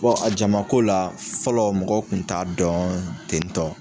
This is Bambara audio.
a jamako la fɔlɔ mɔgɔw kun t'a dɔn tentɔ.